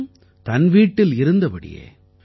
அதுவும் தன் வீட்டில் இருந்தபடியே